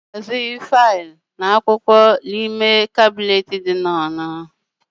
A na ahazi filu na akwụkwọ n'kabnet n'ụlọ ọrụ